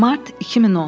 Mart 2010.